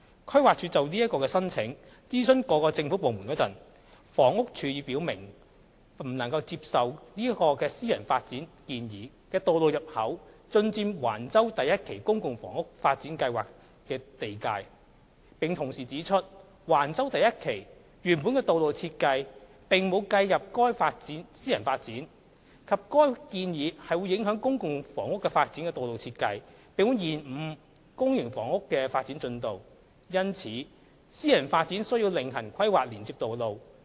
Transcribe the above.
規劃署就這個申請諮詢各政府部門時，房屋署已表明不能接受該私人發展建議的道路入口進佔橫洲第1期公共房屋發展計劃的地界，並同時指出，橫洲第1期原本的道路設計並無計入該私人發展，以及該建議會影響公共房屋發展的道路設計，並會延誤公營房屋的發展進度，因此，私人發展需要另行規劃連接道路。